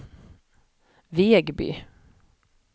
Vegby